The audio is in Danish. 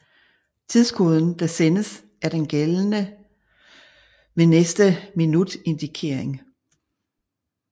Tidskoden der sendes er den er gældende ved næste minutindikering